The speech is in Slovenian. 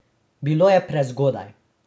Bilo je prezgodaj.